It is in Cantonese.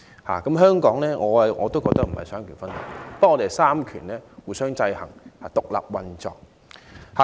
我認為香港亦非奉行三權分立，而是三權互相制衡，獨立運作。